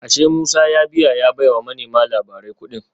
Ashe Musa ya biya ya baiwa manema labarai kudin